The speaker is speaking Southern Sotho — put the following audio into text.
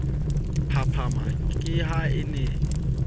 phaphama ke ha a ne